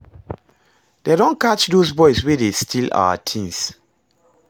Dey don catch those boys wey dey steal our things